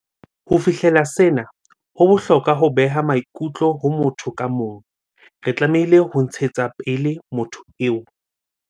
Ho fihlella sena, ho bohlokwa ho beha maikutlo ho motho ka mong- re tlamehile ho ntshetsa pele motho eo.